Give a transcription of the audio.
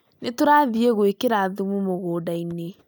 Nĩ tũrathiĩ gũikira thumu mũgũndainĩ